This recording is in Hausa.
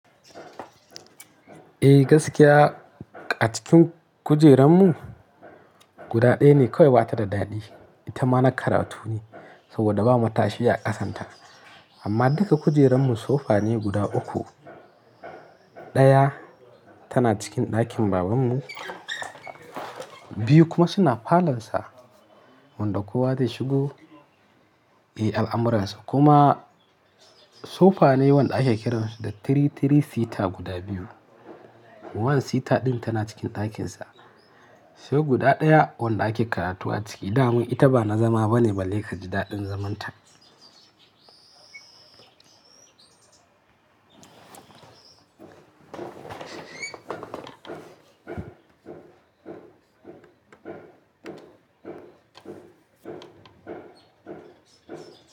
Eh gaskiya a cikin kujerun mu guda ɗaya ne kawai bata da daɗi, ita ma na karatu ne saboda ba mata shi ya kasanta. Amma duka kujerun mu sofa ne guda uku, ɗaya tana cikin ɗakin baban mu, biyu kuma suna falon sa wanda kowa zai shigo, eh al'amuransa kuma sofa ne wanda ake kiran shi da three three seater guda biyu. Wannan seater ɗin tana cikin ɗakin sa sai guda ɗaya wanda ake karatu a ciki, da mun ita ba na zama bane balle ka ji daɗin zaman ta.